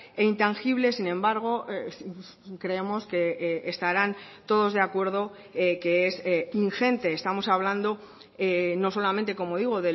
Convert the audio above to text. e intangible sin embargo creemos que estarán todos de acuerdo que es ingente estamos hablando no solamente como digo